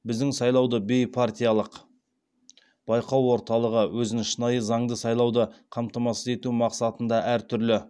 біздің сайлауды бейпартиялық байқау орталығы өзін шынайы заңды сайлауды қамтамасыз ету мақсатында әртүрлі